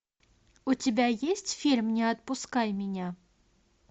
у тебя есть фильм не отпускай меня